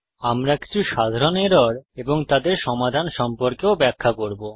আমরা কিছু সাধারণ এরর এবং তাদের সমাধান সম্পর্কেও ব্যাখ্যা করব